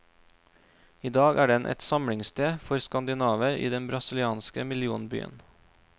I dag er den et samlingssted for skandinaver i den brasilianske millionbyen.